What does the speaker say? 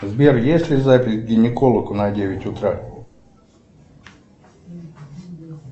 сбер есть ли запись к гинекологу на девять утра